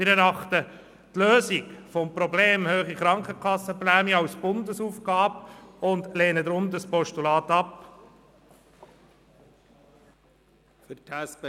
Wir erachten die Lösung des Problems «hohe Krankenkassenprämie» als Bundesaufgabe und lehnen dieses Postulat deshalb ab.